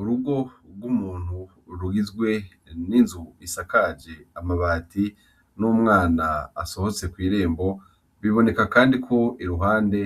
Urugo rwu muntu rugizwe n’inzu isakaje amabati n’umwana asohotse kwirembo biboneka kandi ko iruhande